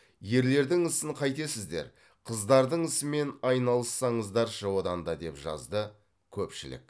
ерлердің ісін қайтесіздер қыздардың ісімен айналыссаңыздаршы одан да деп жазды көпшілік